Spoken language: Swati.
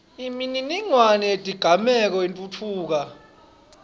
imininingwane yetigameko itfutfuka